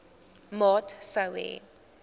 maat sou hê